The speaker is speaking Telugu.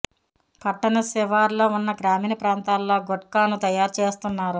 పట్టణ శివారులో ఉన్న గ్రామీణ ప్రాంతాల్లో గుట్కాను తయారు చేస్తున్నారు